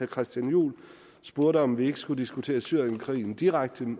christian juhl spurgte om vi ikke også skulle diskutere syrienkrigen direkte